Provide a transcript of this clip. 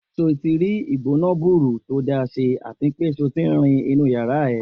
Ṣé o tí rí ìgbóná-gburu tó dáa ṣe à ti pé ṣé o ti rin inú ìyárá ẹ?